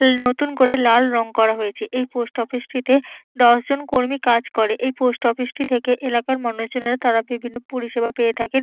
নতুন করে লাল রং করা হয়েছে। এই পোস্ট অফিসটিতে দশ জন কর্মী কাজ করে। এই পোস্ট অফিসটি থেকে এলাকার মানুষজনেরা তারা বিভিন্ন পরিষেবা পেয়ে থাকেন।